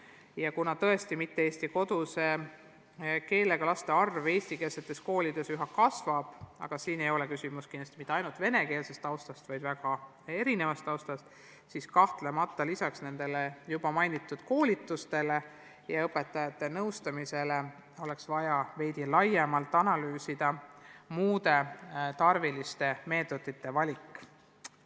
Ja kuna tõesti selliste laste arv eestikeelsetes koolides üha kasvab – ja siin ei ole küsimus kindlasti mitte ainult venekeelses taustas, vaid väga mitmesuguses taustas –, siis kahtlemata lisaks nendele koolitustele ja õpetajate nõustamisele oleks vaja laiemalt analüüsida muude tarviliste meetmete valikut.